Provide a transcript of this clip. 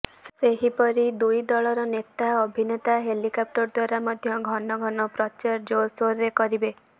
ସେହିପରି ଦୁଇ ଦଳର ନେତା ଅଭିନେତା ହେଲିକପ୍ଟର ଦ୍ବାରା ମଧ୍ୟ ଘନ ଘନ ପ୍ରଚାର ଜୋରସୋରରେ କରିବେ